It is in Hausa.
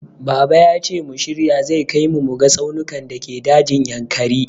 Baba yace mu shirya zai kai mu muga tsaunukan dake dajin Yankari.